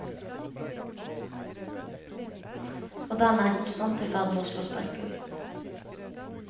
Og denne er konstant i ferd med å slå sprekker.